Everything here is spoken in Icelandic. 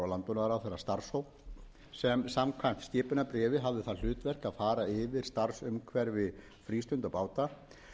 landbúnaðarráðherra starfshóp sem samkvæmt skipunarbréfi hafði það hlutverk að fara yfir starfsumhverfi frístundabáta